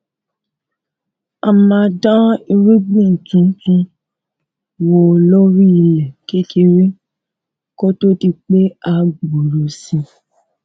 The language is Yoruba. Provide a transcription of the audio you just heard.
a máa dán irúgbìn tuntun wò lórí ilè kékeré kó tó di pé a gbòòrò sí